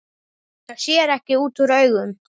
Það sér ekki útúr augum.